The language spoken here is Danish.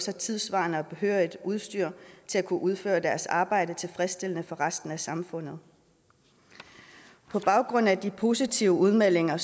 har tidssvarende og behørigt udstyr til at kunne udføre deres arbejde tilfredsstillende for resten af samfundet på baggrund af de positive udmeldinger